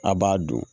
A b'a dun